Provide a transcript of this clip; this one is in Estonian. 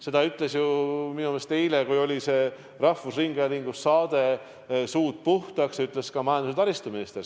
Seda ütles minu meelest eile, kui oli rahvusringhäälingu saade "Suud puhtaks", ka majandus- ja taristuminister.